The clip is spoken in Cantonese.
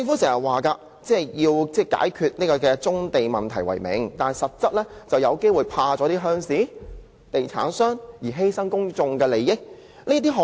政府經常以解決棕地問題為名，但實際上是因害怕鄉事、地產商而犧牲公眾利益。